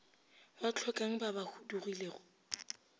ba hlokang ba ba huduegilego